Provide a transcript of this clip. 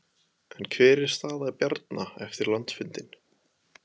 En hver er staða Bjarna eftir landsfundinn?